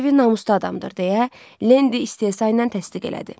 Devi namuslu adamdır, deyə Lendi istehza ilə təsdiq elədi.